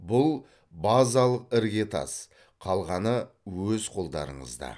бұл базалық іргетас қалғаны өз қолдарыңызда